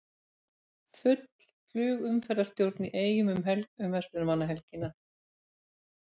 Full flugumferðarstjórn í Eyjum um verslunarmannahelgina